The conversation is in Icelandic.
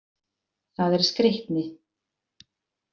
Það er skreytni.